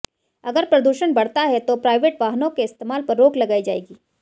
अगर प्रदूषण बढ़ता है तो प्राइवेट वाहनों के इस्तेमाल पर रोक लगाई जाएगी